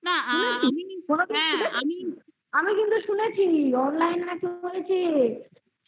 শুনেছি online করেছিস না আমিও শুনেছি এরকম তোমার